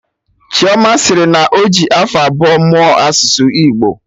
Chioma sịrị na ọjị afọ abụọ mụọ asụsụ Igbo